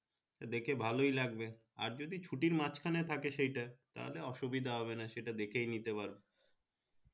দেখে ভালো লাগবে আর যদি ছুটি মাঝ খানে থাকে সেই তা অসুবিধিদ্বা হবেনা সেটা দেখে নিতে পারো